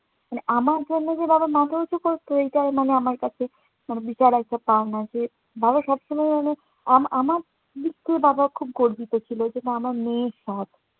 মানে আমার জন্য যে বাবা মাথা উঁচু করতো, এটাও মানে আমার কাছে একটা পাওনা যে, বাবা সবসময় আমার আমা~ আমার মৃত্যু বাবা খুব গর্বিত ছিলো। অথচ আমার মেয়ে